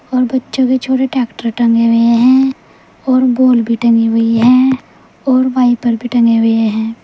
और बच्चों के छोटे ट्रैक्टर टंगे हुए हैं और बॉल भी टंगी हुई है और वाइपर भी टंगे हुए हैं।